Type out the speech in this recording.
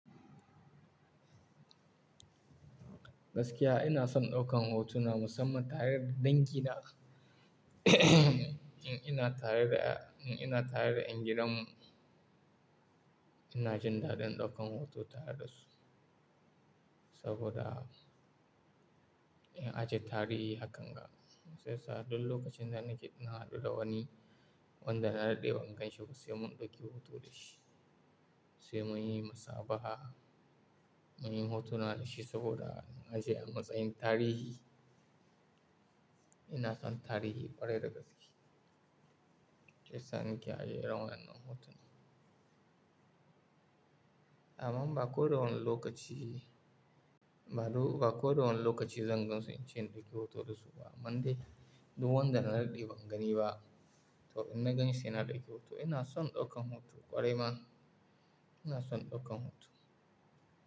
Gaskiya ina son ɗaukan hoto na musamman tare da dangina. In ina tare da, in ina tare da 'yan gidan mu, ina jin daɗin ɗaukan hoto tare da su. Saboda in ajiye tarihi hakkan ga, sai sa duk lokacin da nake nuna duka wani wanda na daɗe bangon shi, ba sai mun ɗauki hoto da shi. Sai muyi musabaha, muyi hotona da shi saboda na ajiye a matsayin tarihi. Ina son tarihi ƙwarai da gaske. Sai sa nake ajiye irin wannan nan hotona. Amman ba kowane lokaci, ba duk, ba kowane lokaci zan gansu ince ɗauki hoto da su ba. Kaman dai duk wanda na daɗe bangani ba, to in na ganshi sena ɗauki hoto. Ina son ɗaukan hoto ƙwarai ma. Ina son ɗaukan hoto.